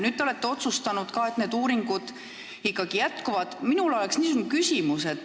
Te olete otsustanud, et need uuringud ikkagi jätkuvad.